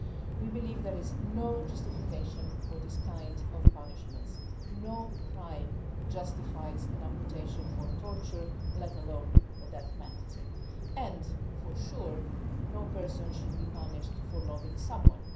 We believe there is no justification for these kinds of punishments no crime justifies an amputation or torture, let alone the death penalty and, for sure, no person should be punished for loving someone.